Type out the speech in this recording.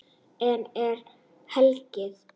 Enn er hlegið.